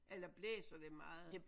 Eller blæser det meget?